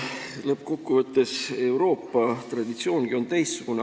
Lõppkokkuvõttes Euroopa traditsioongi on teistsugune.